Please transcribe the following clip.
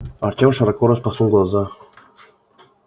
артём широко распахнул глаза